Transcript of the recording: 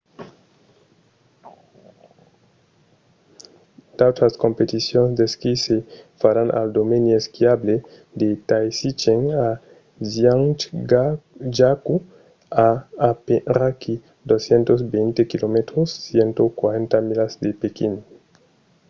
d'autras competicions d'esquí se faràn al domeni esquiable de taizicheng a zhiangjakou a aperaquí 220 km 140 milas de pequín